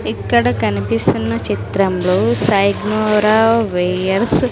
ఇక్కడ కనిపిస్తున్న చిత్రంలో వెయ్యర్స్ --